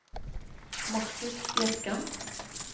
Markus Bjerkan